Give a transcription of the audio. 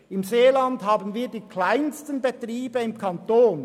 Im Seeland haben wir die kleinsten Betriebe im Kanton.